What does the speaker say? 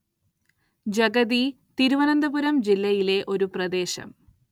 ജഗതി തിരുവനന്തപുരം ജില്ലയിലെ ഒരു പ്രദേശം